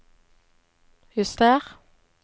juster